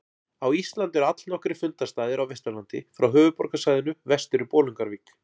Á Íslandi eru allnokkrir fundarstaðir á Vesturlandi frá höfuðborgarsvæðinu vestur í Bolungarvík.